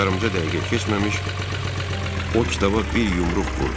Heç yarımca dəqiqə keçməmiş o kitaba bir yumruq vurdu.